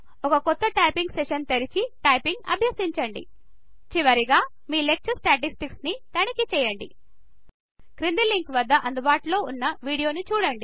ఒక కొత్త typing session తెరిచి టైపింగ్ అభ్యసించండి చివరగా మీ లెక్చర్ స్టాటిస్టిక్స్ ని తనిఖీ చేయండి క్రింది లింక్ వద్ద అందుబాటులో ఉన్నవీడియోని చూడండి